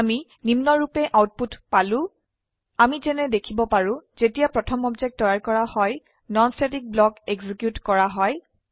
আমি নিম্নৰুপে আউটপুট পালো160 আমি যেনে দেখিব পাৰো যেতিয়া প্ৰথম অবজেক্ট তৈয়াৰ কৰা হয় নন স্ট্যাটিক ব্লক এক্সিকিউট কৰা হয়